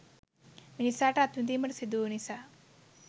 මිනිසාට අත්විඳීමට සිදුවූ නිසා.